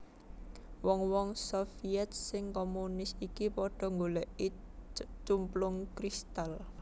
Wong wong Sovyèt sing komunis iki padha nggolèki cumplung kristal